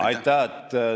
Aitäh!